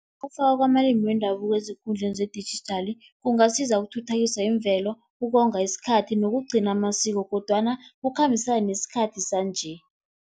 Ukufakwa kwamalimi wendabuko ezikundleni zedijithali kungasiza, ukuthuthukisa imvelo, ukonga isikhathi nokugcina amasiko kodwana kukhambisane nesikhathi sanje.